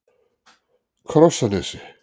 Krossanesi